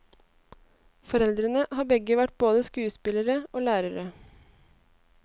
Foreldrene har begge vært både skuespillere og lærere.